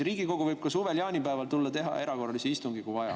Riigikogu võib ka suvel jaanipäeval tulla ja teha erakorralise istungi, kui vaja.